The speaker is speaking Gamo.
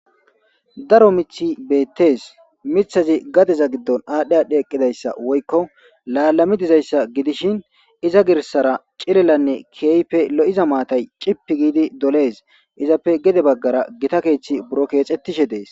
Daro mithi beettes mithazi gadeza giddon aadhdhe adhdhe eqqidayssa woykko laalami dizayssa gidishin iza girsara cilelanne keype lo7iza maatay cippi giidi dolees izappe gede baggara gita keeththi buro keexettishe dees.